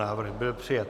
Návrh byl přijat.